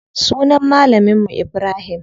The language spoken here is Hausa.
Sunan malamin mu Ibrahim.